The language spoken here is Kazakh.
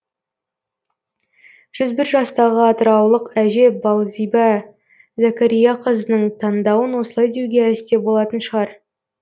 жүз бір жастағы атыраулық әже балзиба зәкәрияқызының таңдауын осылай деуге әсте болатын шығар